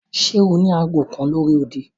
Ṣe o ni aago kan lori odi?